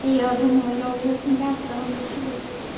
я думала я уже смеяться разучилась